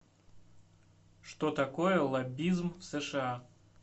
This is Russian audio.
что такое лоббизм в сша